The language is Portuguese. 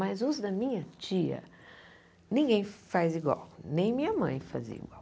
Mas os da minha tia, ninguém faz igual, nem minha mãe fazia igual.